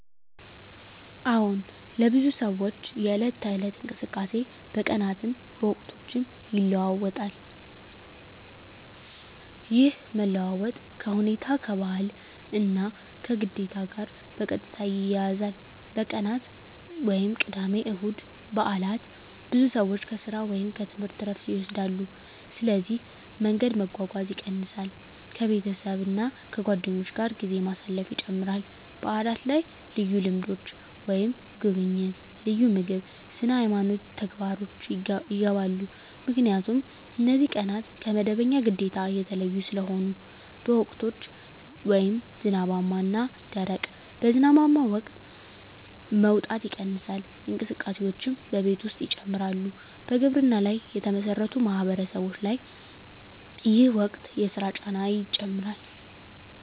አዎን፣ ለብዙ ሰዎች የዕለት ተዕለት እንቅስቃሴ በቀናትም በወቅቶችም ይለዋዋጣል። ይህ መለዋወጥ ከሁኔታ፣ ከባህል እና ከግዴታ ጋር በቀጥታ ይያያዛል። በቀናት (ቅዳሜ፣ እሁድ፣ በዓላት): ብዙ ሰዎች ከሥራ ወይም ከትምህርት ዕረፍት ይወስዳሉ፣ ስለዚህ መንገድ መጓጓዝ ይቀንሳል ከቤተሰብ እና ከጓደኞች ጋር ጊዜ ማሳለፍ ይጨምራል በዓላት ላይ ልዩ ልምዶች (ጉብኝት፣ ልዩ ምግብ፣ ስነ-ሃይማኖት ተግባሮች) ይገባሉ 👉 ምክንያቱም እነዚህ ቀናት ከመደበኛ ግዴታ የተለዩ ስለሆኑ ነው። በወቅቶች (ዝናባማ እና ደረቅ): በዝናባማ ወቅት መውጣት ይቀንሳል፣ እንቅስቃሴዎችም በቤት ውስጥ ይጨምራሉ በግብርና ላይ የተመሠረቱ ማህበረሰቦች ላይ ይህ ወቅት የሥራ ጫና ይጨምራል